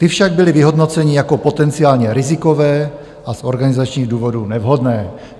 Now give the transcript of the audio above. Ty však byly vyhodnoceny jako potenciálně rizikové a z organizačních důvodů nevhodné."